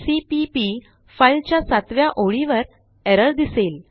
CPP file च्या सातव्या ओळीवर एरर दिसेल